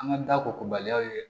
An ka da kobaliyaw ye